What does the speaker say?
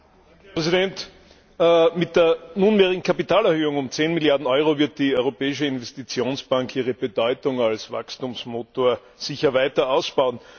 Herr Präsident! Mit der nunmehrigen Kapitalerhöhung um 10Milliarden Euro wird die Europäische Investitionsbank ihre Bedeutung als Wachstumsmotor sicher weiter ausbauen.